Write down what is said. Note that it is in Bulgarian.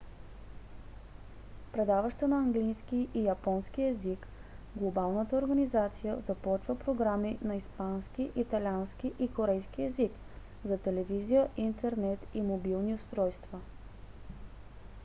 предаваща на английски и японски език глобалната организация започва програми на испански италиански и корейски език за телевизия интернет и мобилни устройства